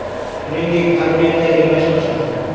Shuningdek, armiyada emlash boshlandi.